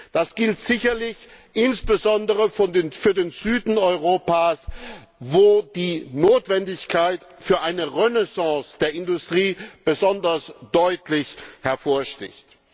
Das gilt sicherlich insbesondere für den Süden Europas, wo die Notwendigkeit einer Renaissance der Industrie besonders deutlich hervorsticht.